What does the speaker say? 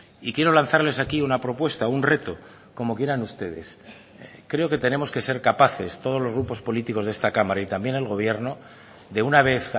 y quiero lanzarles aquí una propuesta un reto como quieran ustedes creo que tenemos que ser capaces todos los grupos políticos de esta cámara y también el gobierno de una vez